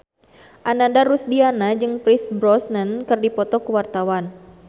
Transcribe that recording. Ananda Rusdiana jeung Pierce Brosnan keur dipoto ku wartawan